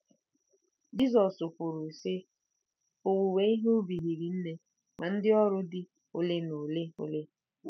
Jizọs kwuru, sị: “Owuwe ihe ubi hiri nne, ma ndị ọrụ dị ole na ole ole.